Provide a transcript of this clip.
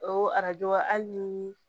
O arajo hali ni